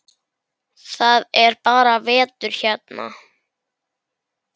Það er bara vetur hérna.